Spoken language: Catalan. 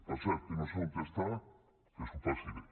per cert que no sé on està que s’ho passi bé